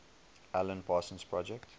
alan parsons project